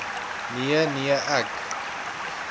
nee nee ek